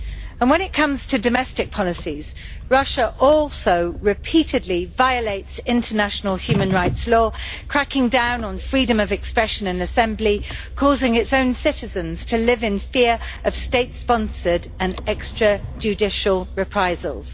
And when it comes to domestic policies, Russia also repeatedly violates international human rights law, cracking down on freedom of expression and assembly, causing its own citizens to live in fear of state sponsored and extra judicial reprisals.